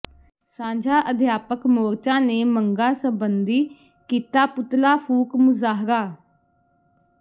ਸਾਂਝਾ ਅਧਿਆਪਕ ਮੋਰਚਾ ਨੇ ਮੰਗਾਂ ਸਬੰਧੀ ਕੀਤਾ ਪੁਤਲਾ ਫੂਕ ਮੁਜ਼ਾਹਰਾ